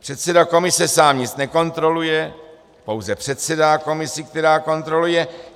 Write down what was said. Předseda komise sám nic nekontroluje, pouze předsedá komisi, která kontroluje.